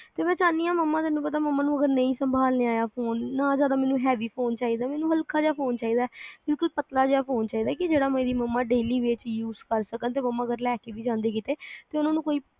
ਤੇ ਮੈਂ ਚਾਹਨੀ ਆ ਮੰਮਾ ਤੈਨੂੰ ਪਤਾ ਅਗਰ ਨਹੀਂ ਸੰਭਾਲਿਆ ਫੋਨ ਨਾ ਜਾਦਾ ਮੈਨੂੰ heavy ਫੋਨ ਚਾਹੀਦਾ ਨਿੱਕਾ ਜਾ ਫੋਨ ਚਾਹੀਦਾ ਕਿਊ ਕਿ ਪਤਲਾ ਜਾ ਫੋਨ ਚਾਹੀਦਾ ਕੀ ਜਿਹੜਾ ਮੇਰੀ ਮੰਮਾ daily base use ਕਰ ਸਕਣ ਤੇ ਮੰਮਾ ਅਗਰ ਲੈ ਕੇ ਵੀ ਜਾਂਦੇ ਕਿਤੇ ਤੇ ਮੈਨੂੰ